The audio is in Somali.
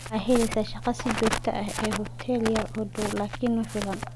Wuxuu heleysaa shaqo si joogto ah ee hotel yar oo dhow, laakiin ma filan.